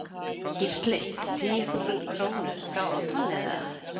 Gísli: Tíu þúsund krónur þá á tonnið eða?